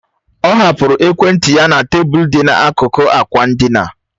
Ọ hapụrụ ekwentị ya na tebụl dị n'akụkụ ákwà ndina